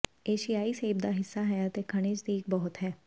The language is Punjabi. ਏਸ਼ੀਆਈ ਸੇਬ ਦਾ ਹਿੱਸਾ ਹੈ ਅਤੇ ਖਣਿਜ ਦੀ ਇੱਕ ਬਹੁਤ ਹੈ